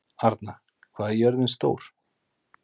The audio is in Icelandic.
Arna, hvað er jörðin stór?